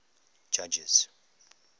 judges